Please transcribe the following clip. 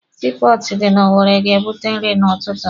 Sii pọọtụ dị na Owere ga-ebute nri n'ụtụtụ.